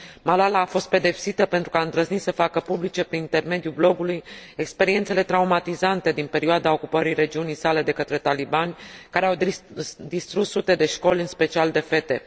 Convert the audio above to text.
Malala a fost pedepsită pentru că a îndrăznit să facă publice, prin intermediul blogului, experiențele traumatizante din perioada ocupării regiunii sale de către talibani, care au distrus sute de școli, în special de fete.